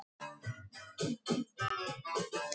Og ég varast að hafa alltaf það sama.